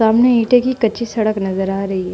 सामने ईटे की कच्ची सड़क नजर आ रही है।